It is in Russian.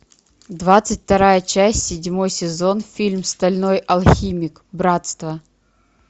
двадцать вторая часть седьмой сезон фильм стальной алхимик братство